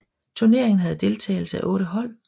Turneringen havde deltagelse af otte hold